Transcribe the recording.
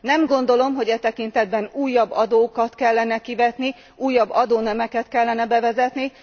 Nem gondolom, hogy e tekintetben újabb adókat kellene kivetni, újabb adónemeket kellene bevezetni.